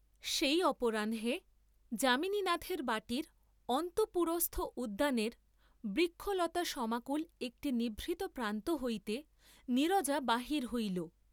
সেই অপরাহ্নে যামিনীনাথের বাটীর অন্তঃপুরস্থ উদ্যানের বৃক্ষলতাসমাকুল একটি নিভৃত প্রান্ত হইতে নীরজা বাহির হইল।